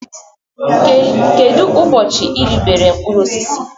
Kedu ụbọchị i ribere mkpụrụ osisi?